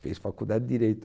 Fez faculdade de Direito.